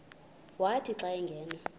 wathi xa angena